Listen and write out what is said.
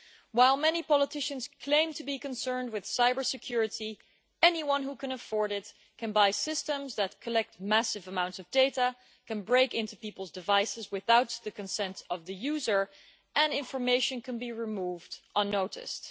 While many politicians claim to be concerned with cyber security, anyone who can afford it can buy systems that collect massive amounts of data, can break into people's devices without the consent of the user, and information can be removed unnoticed.